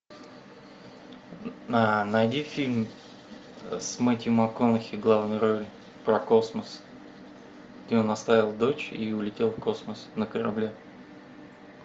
найди фильм с мэттью макконахи в главной роли про космос где он оставил дочь и улетел в космос на корабле